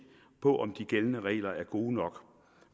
på om de gældende regler er gode nok